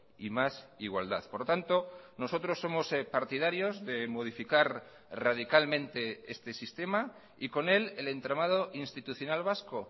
y más igualdad por lo tanto nosotros somos partidarios de modificar radicalmente este sistema y con él el entramado institucional vasco